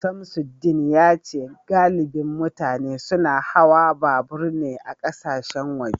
Samsudeen yace galibin mutane suna hawa babur ne a kasashen waje